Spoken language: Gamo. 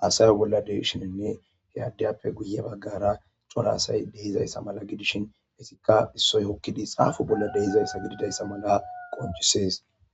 hasayo bola dishinnne he addiyappe guye bagara cora asay deizayisa mala gidishin izika issoy hokidi xapo bola deizayisa gididayisa mala qoncises.